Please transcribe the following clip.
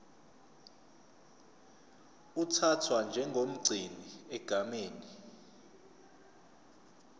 uthathwa njengomgcini egameni